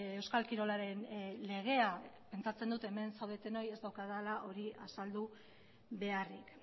euskal kirolaren legea pentsatzen dut hemen zaudetenoi ez daukadala hori azaldu beharrik